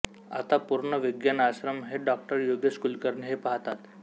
आता पूर्ण विज्ञान आश्रम हे डॉ योगेश कुलकर्णी हे पाहतात